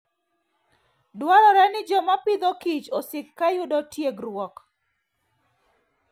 Dwarore ni joma Agriculture and Food osik ka yudo tiegruok.